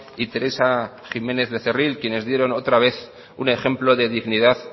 y teresa jiménez becerril quienes dieron otra vez un ejemplo de dignidad